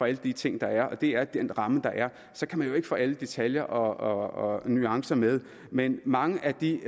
alle de ting der er og det er den ramme der er så kan man jo ikke få alle detaljer og nuancer med men mange af de